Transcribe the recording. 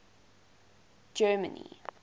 germany